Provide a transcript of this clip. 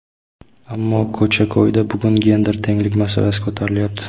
Ammo ko‘cha-ko‘yda bugun gender tenglik masalasi ko‘tarilyapti.